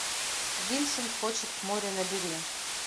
винсент хочет к морю набери